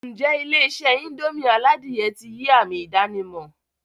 N jẹ́ Ilé-isé indomie aládìyẹ ti yii ami ìdànímò